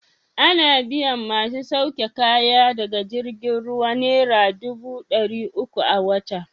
Ana biyan masu sauke kaya daga jirgin ruwa naira dubu ɗari uku a wata.